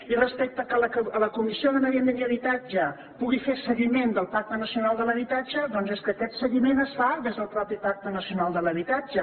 i respecte al fet que la comissió de medi ambient i habitatge pugui fer seguiment del pacte nacional de l’habitatge doncs és que aquest seguiment es fa des del mateix pacte nacional de l’habitatge